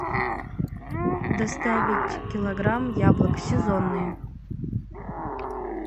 доставить килограмм яблок сезонные